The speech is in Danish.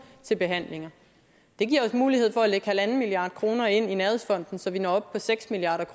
til behandlinger det giver os mulighed for at lægge en milliard kroner ind i nærhedsfonden så vi når op på seks milliard